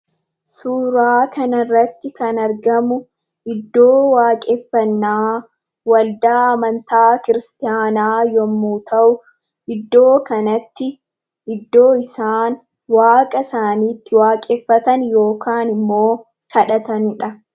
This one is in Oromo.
Suuraa kanarratti kan argamu iddoo waaqeffannaa waldaa amantaa Kiristaanaa yommuu ta'u, iddoo kanatti iddoo isaan waaqa isaanii itti waaqeffatan yookaan immoo kadhataniidha.